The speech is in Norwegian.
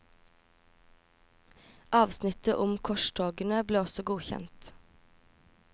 Avsnittet om korstogene ble også godkjent.